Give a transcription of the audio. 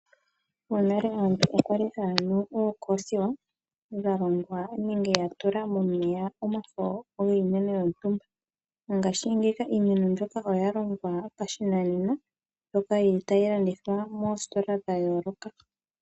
Monale aantu okwali haa nu ookoothiwq yatula omafo giimeno yontumba momeya. Ngashingeyi iimeno mbyoka oya longwa pashinanena mbyoka yili tayi landithwa moostola dha yooloka.